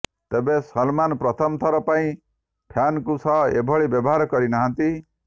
ତେବେ ସଲ୍ମାନ୍ ପ୍ରଥମଥର ପାଇଁ ଫ୍ୟାନ୍ଙ୍କ ସହ ଏଭଳି ବ୍ୟବହାର କରି ନାହାନ୍ତି